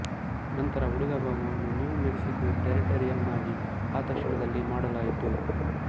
ನಂತರ ಉಳಿದ ಭಾಗವನ್ನು ನಿವ್ ಮೆಕ್ಸಿಕೊ ಟೆರಿಟರಿಯನ್ನಾಗಿ ಆ ತಕ್ಷಣದಲ್ಲೇ ಮಾಡಲಾಯಿತು